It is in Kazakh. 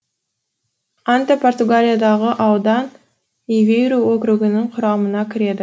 анта португалиядағы аудан эвейру округінің құрамына кіреді